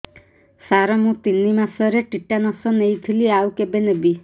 ସାର ମୁ ତିନି ମାସରେ ଟିଟାନସ ନେଇଥିଲି ଆଉ କେବେ ନେବି